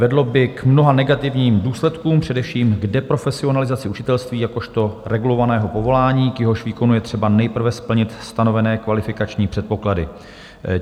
Vedlo by k mnoha negativním důsledkům, především k deprofesionalizaci učitelství jakožto regulovaného povolání, k jehož výkonu je třeba nejprve splnit stanovené kvalifikační předpoklady.